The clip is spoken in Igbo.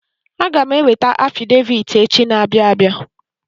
Aga m eweta afidevit echi na-abịa abia.